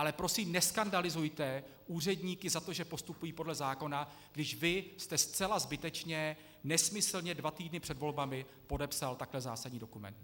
Ale prosím, neskandalizujte úředníky za to, že postupují podle zákona, když vy jste zcela zbytečně, nesmyslně dva týdny před volbami podepsal takhle zásadní dokument.